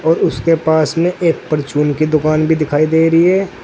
और उसके पास में एक परचून की दुकान भी दिखाई दे रही है।